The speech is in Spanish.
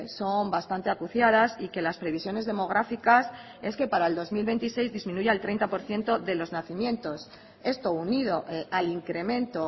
son bastante acuciadas y que las previsiones demográficas es que para el dos mil veintiséis disminuya el treinta por ciento de los nacimientos esto unido al incremento